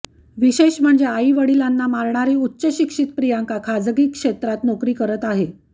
विशेष म्हणजे आई वडिलांना मारणारी उच्चशिक्षित प्रियांका खाजगी क्षेत्रात नोकरी करत आहे